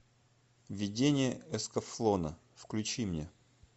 видение эскафлона включи мне